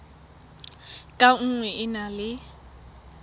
ka nngwe e na le